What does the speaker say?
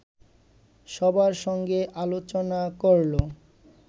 সবার সঙ্গে আলোচনাকরলো